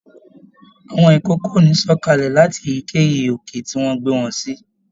Àwọn ikòkò o ní sọ̀kalẹ̀ láti èyíkéyìí òkè ti a gbe wọn si.